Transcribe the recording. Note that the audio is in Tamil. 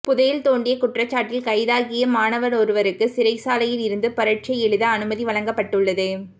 புதையல் தோண்டிய குற்றச்சாட்டில் கைதாகிய மாணவனொருவருக்கு சிறைச்சாலையில் இருந்து பரீட்சை எழுத அனுமதி வழங்கப்பட்டுள்ளது